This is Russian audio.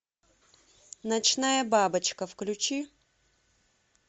ночная бабочка включи